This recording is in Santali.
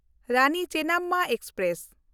ᱨᱟᱱᱤ ᱪᱮᱱᱱᱟᱢᱢᱟ ᱮᱠᱥᱯᱨᱮᱥ